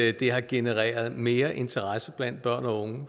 at det har genereret mere interesse blandt børn og unge